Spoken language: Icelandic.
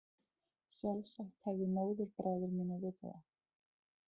Sjálfsagt hefðu móðurbræður mínir vitað það.